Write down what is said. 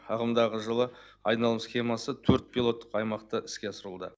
ағымдағы жылы айналым схемасы төрт пилоттық аймақты іске асыруда